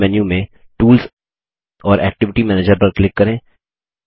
मुख्य मेन्यू में टूल्स और एक्टिविटी मैनेजर पर क्लिक करें